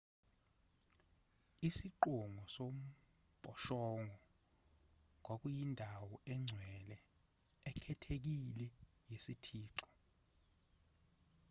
isiqongo sombhoshongo kwakuyindawo engcwele ekhethekile yesithixo